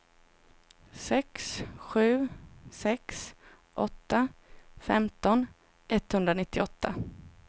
sex sju sex åtta femton etthundranittioåtta